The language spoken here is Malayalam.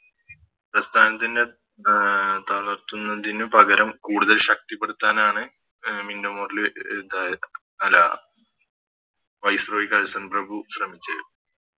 പ്രസ്ഥാനത്തിനെ തളർത്തുന്നതിന് പകരം കൂടുതൽ ശക്തിപ്പെടുത്താനാണ് മിന്റോ മോർലി അഹ് ഇതായത് അല്ല Viceroy കേഴ്സൺ പ്രഭു ശ്രമിച്ചത്